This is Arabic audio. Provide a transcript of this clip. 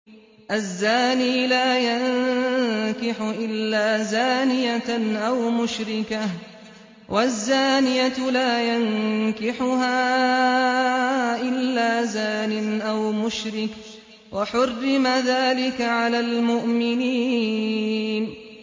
الزَّانِي لَا يَنكِحُ إِلَّا زَانِيَةً أَوْ مُشْرِكَةً وَالزَّانِيَةُ لَا يَنكِحُهَا إِلَّا زَانٍ أَوْ مُشْرِكٌ ۚ وَحُرِّمَ ذَٰلِكَ عَلَى الْمُؤْمِنِينَ